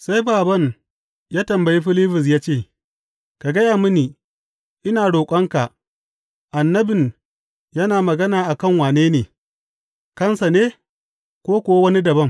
Sai bābān ya tambayi Filibus ya ce, Ka gaya mini, ina roƙonka, annabin yana magana a kan wane ne, kansa ne, ko kuwa wani dabam?